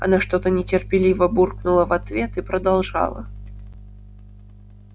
она что-то нетерпеливо буркнула в ответ и продолжала